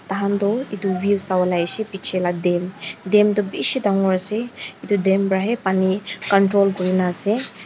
tahan toh edu view sawolae aishey bichae la dam dam toh bishi dangor ase edu dam pra he pani control kurinaase.